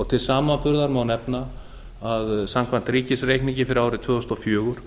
til samanburðar má nefna að samkvæmt ríkisreikningi fyrir árið tvö þúsund og fjögur